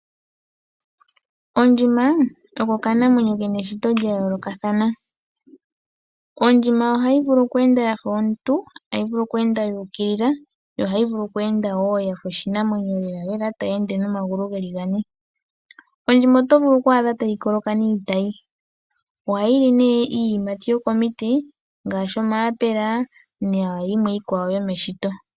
Ondjima oko okanamwenyo kena eshito la yoolokathana. Ondjima ohayi vulu oku enda yafa omuntu , tayi vulu oku enda ya ukilila to ohayi vulu woo oku enda yafa oshinamwenyo tayi ende nomagulu geli gane. Ondjima oto vulu oku adha tayi loloka niitayi ohayi li nee iiyimati yo komiti ngaashi omaapela na yimwe yomeshito.